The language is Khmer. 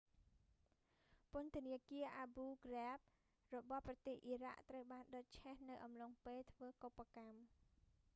ពន្ធនាគារ abu ghraib របស់ប្រទេសអ៊ីរ៉ាក់ ត្រូវបានដុតឆេះនៅអំឡុងពេលធ្វើកុប្បកម្ម